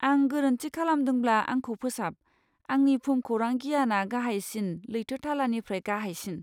आं गोरोन्थि खालामदोंब्ला आंखौ फोसाब, आंनि भुमखौरां गियाना गाहायसिन लैथो थालानिफ्राय गाहायसिन।